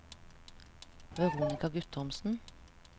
Veronica Guttormsen